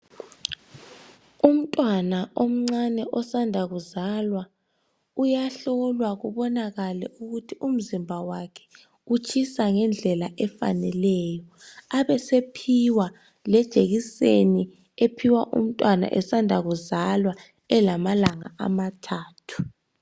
Umntwana omncane osanda kuzalwa uyahlolwa kubonakale ukuthi umzimba wakhe utshisa ngendlela efaneleyo. Abesephiwa lejekiseni ephiwa umntwana esanda kuzalwa elamalanga amathathu.